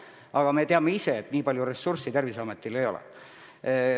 Aga me teame, et nii palju ressurssi Tervisametil ei ole.